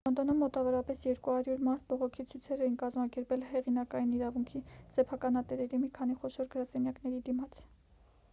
լոնդոնում մոտավորապես 200 մարդ բողոքի ցույցեր են կազմակերպել հեղինակային իրավունքի սեփականատերերի մի քանի խոշոր գրասենյակների դիմաց